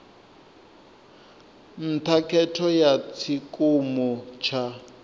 nṱha khetho ya tshikimu tsha